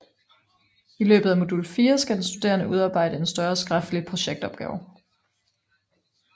I løbet af Modul 4 skal den studerende udarbejde en større skriftlig projektopgave